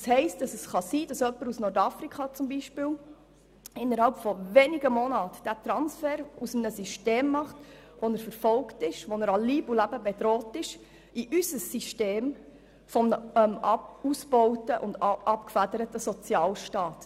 Es kann also sein, dass jemand beispielsweise aus Nordafrika innerhalb weniger Monate aus einem System, wo er verfolgt und an Leib und Leben bedroht ist, in unser System kommt, in einen ausgebauten und abgefederten Sozialstaat.